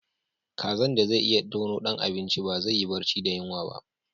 Kazan da zai iya tono dan abinci ba zai yi barci da yunwa ba.